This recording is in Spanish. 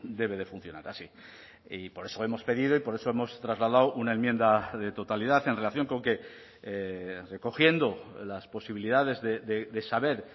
debe de funcionar así y por eso hemos pedido y por eso hemos trasladado una enmienda de totalidad en relación con que recogiendo las posibilidades de saber